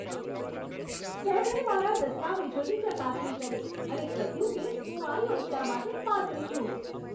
તેમણે મારા દસ્તાવેજોની ચકાસણી કરી અને કહ્યું કે હું આ યોજના માટે પાત્ર છું.